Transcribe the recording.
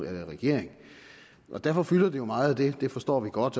er i regering derfor fylder det jo meget det forstår vi godt